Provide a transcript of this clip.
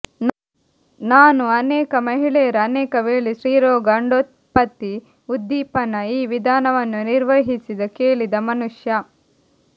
ನಾನು ಅನೇಕ ಮಹಿಳೆಯರು ಅನೇಕವೇಳೆ ಸ್ತ್ರೀರೋಗ ಅಂಡೋತ್ಪತ್ತಿ ಉದ್ದೀಪನ ಈ ವಿಧಾನವನ್ನು ನಿರ್ವಹಿಸಿದ ಕೇಳಿದ ಮನುಷ್ಯ